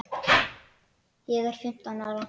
Þú lest þá tvær eða þrjár prófarkir við tækifæri.